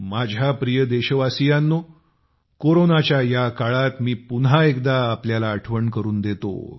माझ्या प्रिय देशवासियांनेकोरोनाच्या या काळात मी पुन्हा एकदा आपल्याला आठवण करून देतो